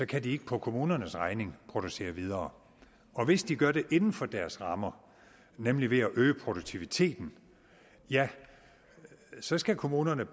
kan de ikke på kommunernes regning producere videre hvis de gør det inden for deres rammer nemlig ved at øge produktiviteten ja så skal kommunerne